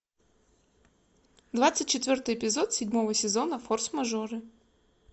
двадцать четвертый эпизод седьмого сезона форсмажоры